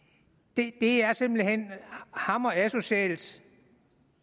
det er simpelt hen hammer asocialt